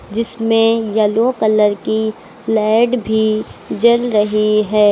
जिसमें yellow colour की light भी जल रही है।